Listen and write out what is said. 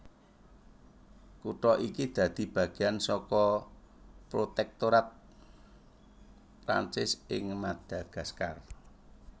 Kutha iki dadi bagéan saka protèktorat Prancis ing Madagaskar